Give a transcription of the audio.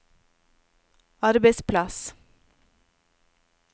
arbeidsplass